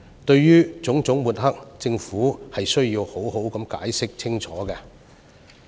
對於種種抹黑，政府需要好好解釋清楚。